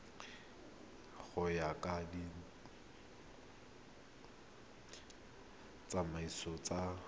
go ya ka ditsamaiso tsa